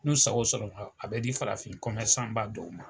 N'u sako sɔrɔ la, a bɛ di farafin ba dɔw ma.